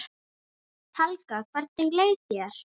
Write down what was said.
Helga: Hvernig leið þér?